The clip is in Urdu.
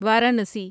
وارانسی